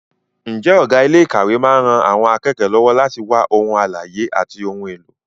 Ǹjẹ́ ọ̀gá ilé ìkàwé máa ń ran àwọn akẹ́kọ̀ọ́ lọ́wọ́ láti wá ohun àlàyé àti ohun èlò?